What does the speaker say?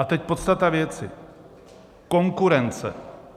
A teď podstata věci: konkurence.